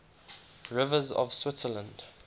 rivers of switzerland